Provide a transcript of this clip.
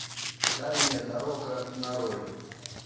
дальняя дорога нарой